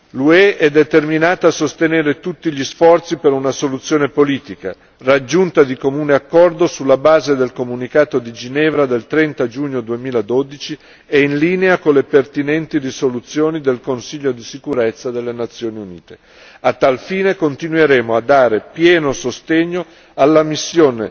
L'UE è determinata a sostenere tutti gli sforzi per uan situazione politica, raggiunta di comune accordo sulla base del comunicato di Ginevra del 30 giugno 2012 e in linea con le pertinenti risoluzioni del Consiglio di sicurezza delle Nazioni Unite. A tal fine, continueremo a dare pieno sostegno alla missione